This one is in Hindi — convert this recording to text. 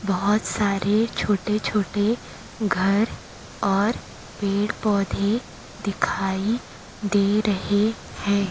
बोहोत सारे छोटे- छोटे घर और पेड़- पौधे दिखाई दे रहे हैं।